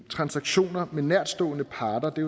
transaktioner med nærtstående parter det